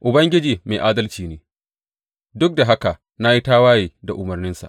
Ubangiji mai adalci ne, duk da haka na yi tawaye da umarninsa.